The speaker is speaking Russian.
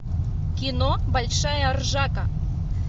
кино большая ржака